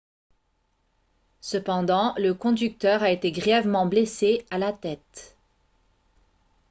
cependant le conducteur a été grièvement blessé à la tête